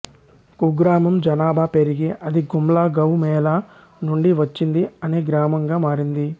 కుగ్రామం జనాభా పెరిగి అది గుమ్లా గౌ మేళా నుండి వచ్చింది అనే గ్రామంగా మారింది